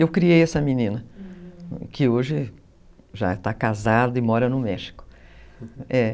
Eu criei essa menina, uhum, que hoje já está casada e mora no México, é.